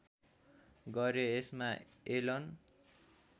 गरे यसमा एलन